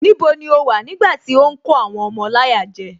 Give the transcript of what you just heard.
Níbo ni o wà nígbàtí ó ń kó àwọn ọmọ láyà jẹ